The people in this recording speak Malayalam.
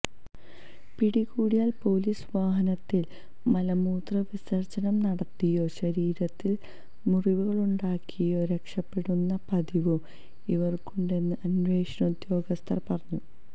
പിടികൂടിയാൽ പോലീസ് വാഹനത്തിൽ മലമൂത്രവിസർജനം നടത്തിയോ ശരീരത്തിൽ മുറിവുകളുണ്ടാക്കിയോ രക്ഷപ്പെടുന്ന പതിവും ഇവർക്കുണ്ടെന്ന് അന്വേഷണോദ്യോഗസ്ഥർ പറഞ്ഞു